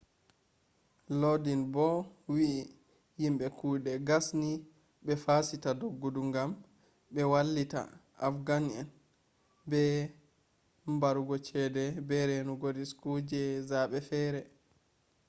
lodin bo'o wi'i yimbe kuɗe gasni be fasita doggudu ngam ɓe wallita afghan'en be barugo ceede be reenugo risku je zaɓe feere